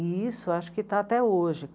E isso acho que está até hoje.